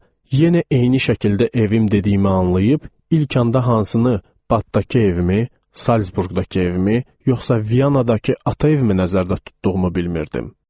Sonra yenə eyni şəkildə evim dediyimi anlayıb, ilk anda hansını, batdakı evimi, Salzburqdakı evimi, yoxsa Viyanadakı ata evimi nəzərdə tutduğumu bilmirdim.